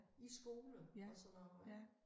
I skole og sådan noget ik